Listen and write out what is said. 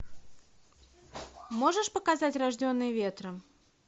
можешь показать рожденные ветром